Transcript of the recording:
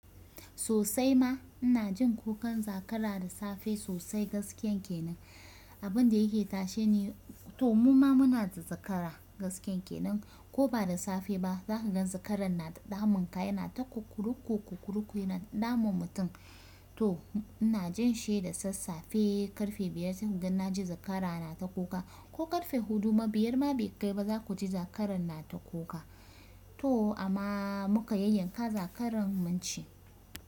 Sosai ma ina jin kukan zakara da safe sosai gaskiyan kenan. Abun da yake tashe ni, to muma muna da zakara gaskiyan kenan ko ba da safe ba zaka ga zakaran na ta damun ka, yana ta kukuru ku kukuru ya na damun mutum. To ina jin shi da sassafe karfe biyar zan gan na ji zakara na ta kuka ko karfe huɗu mabiyar ma bai kai ba za ku ji zakaran na ta kuka. To amma muka yayyanka zakaran mun ci.